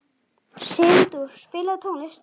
Sigdór, spilaðu tónlist.